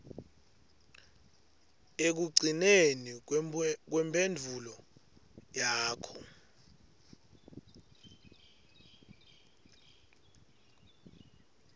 ekugcineni kwemphendvulo yakho